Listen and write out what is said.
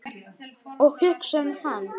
Og hugsa um hann.